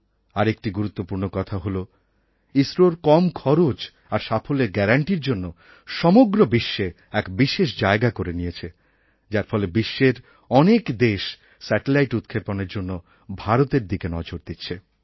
আর একটি গুরুত্বপূর্ণ কথা হলো ইসরোর কম খরচ আর সাফল্যের গ্যারান্টির জন্য সমগ্র বিশ্বে এক বিশেষ জায়গা করে নিয়েছে যার ফলে বিশ্বের অনেক দেশ স্যাটেলাইট উৎক্ষেপনের জন্য ভারতের দিকে নজর দিচ্ছে